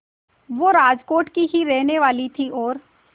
वो राजकोट की ही रहने वाली थीं और